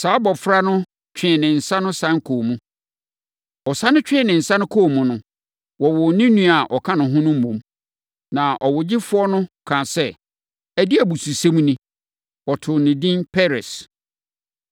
Saa abɔfra no twee ne nsa sane kɔɔ mu. Ɔsane twee ne nsa kɔɔ mu no, wɔwoo ne nua a ɔka ne ho no mmom. Na ɔwogyefoɔ no kaa sɛ, “Ɛdeɛn abususɛm ni!” Wɔtoo no edin Peres.